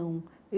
Não.